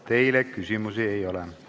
Teile küsimusi ei ole.